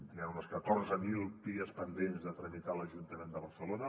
hi han uns catorze mil pies pendents de tramitar a l’ajuntament de barcelona